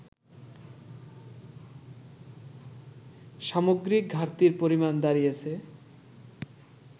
সামগ্রিক ঘাটতির পরিমাণ দাঁড়িয়েছে